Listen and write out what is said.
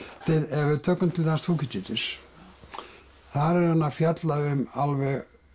ef við tökum til dæmis Þúkýdídes þar er hann að fjalla um alveg